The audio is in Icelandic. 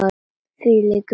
Þvílík vika!